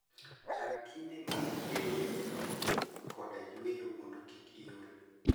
Chan kinde mag rieyo dendi koda yueyo mondo kik iol.